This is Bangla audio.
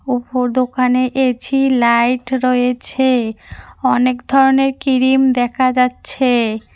উপর দোকানে এছি লাইট রয়েছে অনেক ধরনের কিরিম দেখা যাচ্ছে।